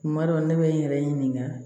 Kuma dɔ ne bɛ n yɛrɛ ɲininka